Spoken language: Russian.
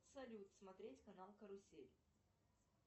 салют смотреть канал карусель